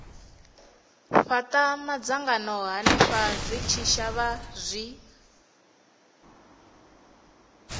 fhata madzangano henefho zwitshavha zwi